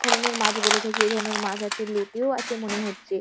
ধরণের মাছ বলে থাকি। ওই ধরণের মাছ আছে। লোটেও আছে মনে হচ্ছে।